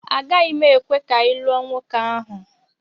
Agaghị m ekwe ka ị lụọ nwoke ahụ!